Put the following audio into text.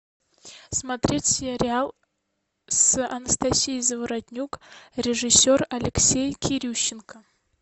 смотреть сериал с анастасией заворотнюк режиссер алексей кирющенко